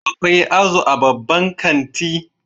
Akwai azu a babban kanti